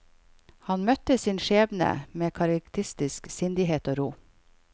Han møtte sin skjebne med karakteristisk sindighet og ro.